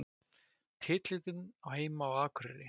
Titillinn á heima á Akureyri